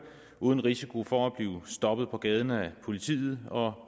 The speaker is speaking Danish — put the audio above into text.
uden risiko for at blive stoppet på gaden af politiet og